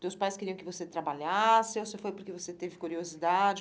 Teus pais queriam que você trabalhasse ou você foi porque você teve curiosidade?